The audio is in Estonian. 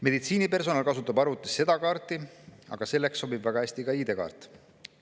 Meditsiinipersonal kasutab arvutis seda kaarti, aga selleks sobib väga hästi ka ID-kaart.